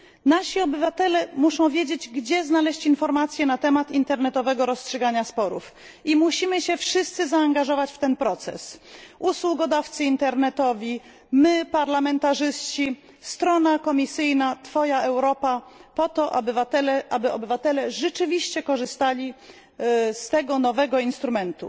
Nasi obywatele muszą wiedzieć, gdzie znaleźć informację na temat internetowego rozstrzygania sporów. Musimy się wszyscy zaangażować w ten proces usługodawcy internetowi, my parlamentarzyści, strona Komisji Europejskiej Twoja Europa, aby obywatele rzeczywiście korzystali z tego nowego instrumentu.